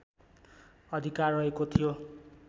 अधिकार रहेको थियो